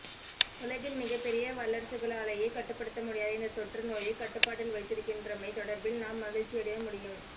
உலகின் மிகப்பெரிய வல்லரசுகளாலேயே கட்டுப்படுத்த முடியாத இந்த தொற்று நோயை கட்டுப்பாட்டில் வைத்திருக்கின்றமைத் தொடர்பில் நாம் மகிழ்ச்சியடைய முடியும்